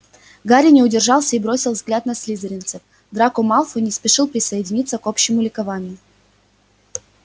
гарри не удержался и бросил взгляд на слизеринцев драко малфой не спешил присоединиться к общему ликованию